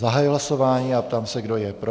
Zahajuji hlasování a ptám se, kdo je pro.